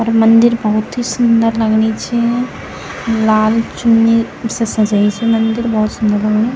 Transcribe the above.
अर मंदिर भौत ही सुन्दर लगणी च लाल चुन्नी से सजाई च मंदिर भौत सुंदर लगणी।